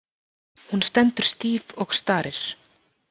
Hún stendur stíf og starir.